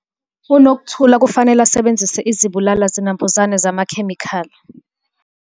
UNokuthula kufanele asebenzise izibulala zinambuzane zamakhemikhali.